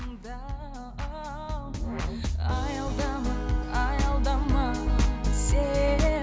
аялдама аялдама сен